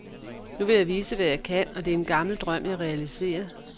Nu vil jeg vise hvad jeg kan, og det er en gammel drøm jeg realiserer.